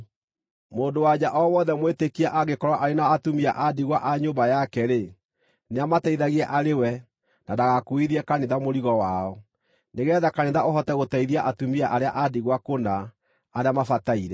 Mũndũ-wa-nja o wothe mwĩtĩkia angĩkorwo arĩ na atumia a ndigwa a nyũmba yake-rĩ, nĩamateithagie arĩ we na ndagakuuithie kanitha mũrigo wao, nĩgeetha kanitha ũhote gũteithia atumia arĩa a ndigwa kũna, arĩa mabataire.